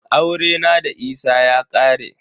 Aurena da Isa ya ƙare.